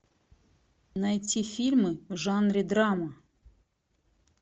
найти фильмы в жанре драма